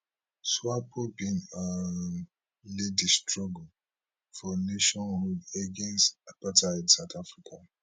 swapo bin um lead di struggle for nationhood against apartheid south africa